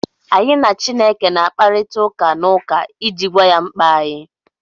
Anyị na Chineke na-akparịta ụka n’ụka iji gwa ya mkpa anyị